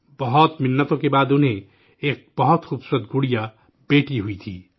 بہت منتوں کے بعد انہیں، ایک بہت خوبصورت گڑیا، بٹیا ہوئی تھی